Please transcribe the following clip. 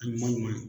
A ɲuman ɲuman